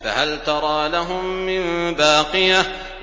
فَهَلْ تَرَىٰ لَهُم مِّن بَاقِيَةٍ